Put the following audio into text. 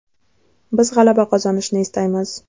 Biz g‘alaba qozonishni istaymiz.